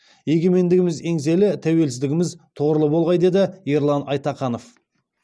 егемендігіміз еңселі тәуелсіздігіміз тұғырлы болғай деді ерлан айтаханов